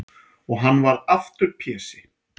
Og hann varð aftur Pési.